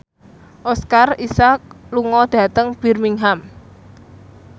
Oscar Isaac lunga dhateng Birmingham